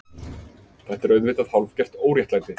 Þetta er auðvitað hálfgert óréttlæti.